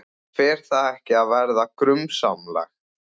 Fer það ekki að verða grunsamlegt?